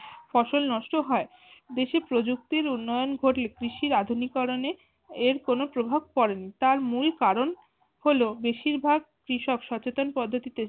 ফসল নষ্ট হয়। দেশে প্রযুক্তির উন্নয়ন ঘটলে কৃষির আধুনিকরনে এর কোনো প্রভাব পরেনি তার মূল কারনহলো বেশিরভাগ কৃষক সচেতন পদ্ধতিতে